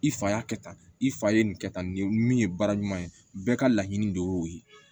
I fa y'a kɛ tan i fa ye nin kɛ tan nin min ye baara ɲuman ye bɛɛ ka laɲini de y'o ye